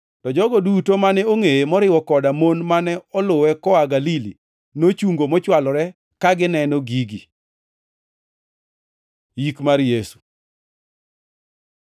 To jogo duto mane ongʼeye, moriwo koda mon mane oluwe koa Galili, nochungo mochwalore ka gineno gigi. Yik mar Yesu